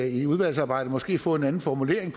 i udvalgsarbejdet måske få en anden formulering